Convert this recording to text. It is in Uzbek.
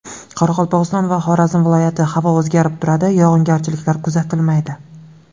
Qoraqalpog‘iston va Xorazm viloyati Havo o‘zgarib turadi, yog‘ingarchiliklar kuzatilmaydi.